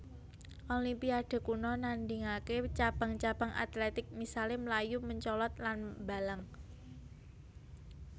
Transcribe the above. Olimpiade kuno nandhingaké cabang cabang atletik misalé mlayu mencolot lan mbalang